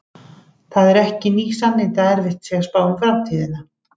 Það eru ekki ný sannindi að erfitt sé að spá um framtíðina.